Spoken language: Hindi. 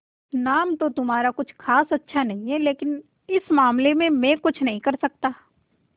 नाम तो तुम्हारा खास अच्छा नहीं है लेकिन इस मामले में मैं कुछ नहीं कर सकता